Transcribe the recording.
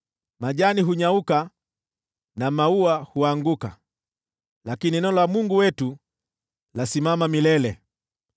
Majani hunyauka na maua huanguka, lakini neno la Mungu wetu ladumu milele.”